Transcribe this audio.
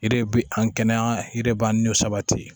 De bi an kɛnɛya yɛrɛ b'an sabati